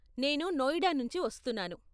నేను నోయిడా నుంచి వస్తున్నాను.